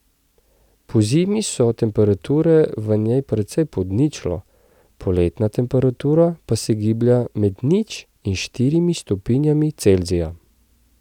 Pozimi so temperature v njej precej pod ničlo, poletna temperatura pa se giblje med nič in štirimi stopinjami Celzija.